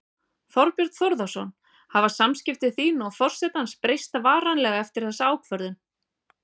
Þorbjörn Þórðarson: Hafa samskipti þín og forsetans breyst varanlega eftir þessa ákvörðun?